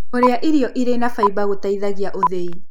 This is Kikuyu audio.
Kũrĩa irio ĩrĩ na faĩba gũteĩthagĩa ũthĩĩ